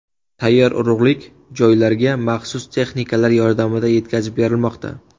Tayyor urug‘lik joylarga maxsus texnikalar yordamida yetkazib berilmoqda.